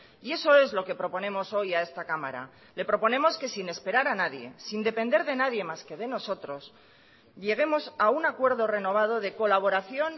y eso es lo que proponemos hoy a esta cámara le proponemos que sin esperar a nadie sin depender de nadie más que de nosotros lleguemos a un acuerdo renovado de colaboración